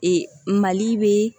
Ee mali bɛ